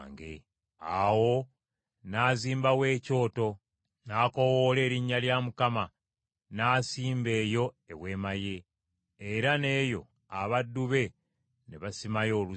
Awo n’azimbawo ekyoto n’akoowoola erinnya lya Mukama , n’asimba eyo eweema ye. Era n’eyo abaddu be ne basimayo oluzzi.